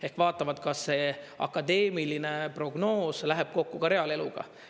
Ehk vaatavad, kas see akadeemiline prognoos läheb kokku ka reaaleluga.